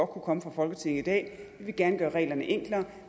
komme fra folketinget i dag vi vil gerne gøre reglerne enklere